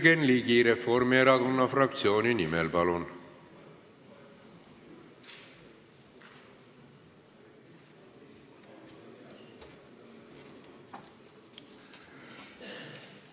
Jürgen Ligi Reformierakonna fraktsiooni nimel, palun!